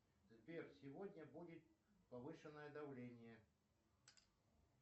сбер сегодня будет повышенное давление